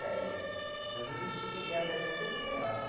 Dez, muitas vezes já cheguei a ganhar até de cinquenta real.